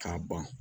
K'a ban